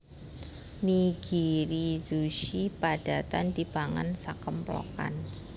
Nigirizushi padatan dipangan sakemplokan